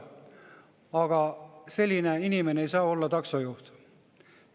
Aga selline inimene ei saa olla taksojuht.